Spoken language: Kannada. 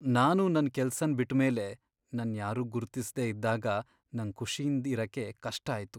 ನಾನು ನನ್ ಕೆಲಸನ್ ಬಿಟ್ ಮೇಲೆ ನನ್ ಯಾರೂ ಗುರ್ತಿಸ್ದೆ ಇದ್ದಾಗ ನಂಗ್ ಖುಷಿಯಿಂದ್ ಇರಕೆ ಕಷ್ಟ ಆಯ್ತು.